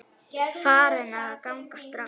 Farin að ganga strax!